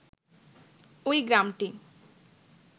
ওই গ্রামটি